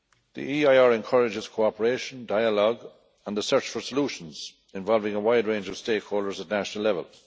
The EIR encourages cooperation, dialogue and the search for solutions involving a wide range of stakeholders at national level.